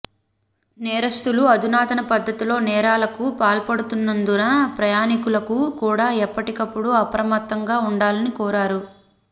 నేరస్తులు అధునాతన పద్దతిలో నేరాలకు పాల్పడుతున్నందున ప్రయాణికులకు కూడా ఎప్పటికప్పుడు అప్రమత్తంగా ఉండాలని కోరారు